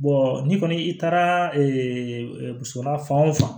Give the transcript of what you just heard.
n'i kɔni i taara muso la fan o fan